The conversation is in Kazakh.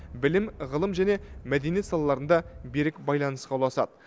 білім ғылым және мәдениет салаларында берік байланысқа ұласады